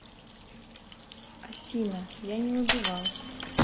афина я не убивал